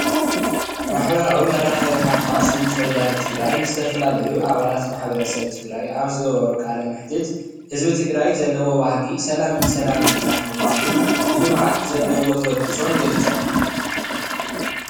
ማሕበራዊ መራከቢ ሓፋሽ ድምፂ ወያነ ትግራይ ንዝተፈላለዩ ኣባላት ማሕበረሰብ ትግራት ኣብ ዝገበሮ ቃለ መሕተት ህዝቢ ትግራይ ዝለዎ ባህጊ ሰላምን ሰላምን ጥራሕ ምኳኑን ንልምዓት ዘለዎ ተበግሶን ገሊፆም